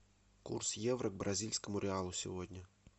курс евро к бразильскому реалу сегодня